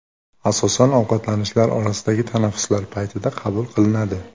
Asosan ovqatlanishlar orasidagi tanaffuslar paytida qabul qilinadi.